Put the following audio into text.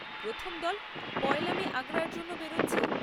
প্রথম দল পয়লা মে আগ্রার জন্য বেরোচ্ছে।